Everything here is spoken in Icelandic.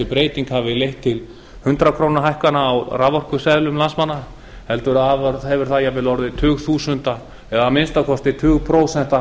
breyting hafi leitt til hundrað krónur hækkana á raforkuseðlum landsmanna heldur hefur það jafnvel orðið tugþúsunda eða að minnsta kosti tugprósentum